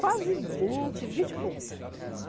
Quase vinte, vinte e pouco.